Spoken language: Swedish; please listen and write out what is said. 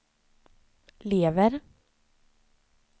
lever